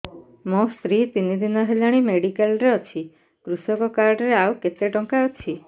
ମୋ ସ୍ତ୍ରୀ ତିନି ଦିନ ହେଲାଣି ମେଡିକାଲ ରେ ଅଛି କୃଷକ କାର୍ଡ ରେ ଆଉ କେତେ ଟଙ୍କା ଅଛି